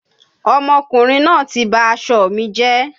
Ọmọkùnrin náà ti ba aṣọ mi jẹ́.